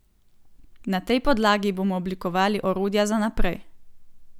Na tej podlagi bomo oblikovali orodja za naprej.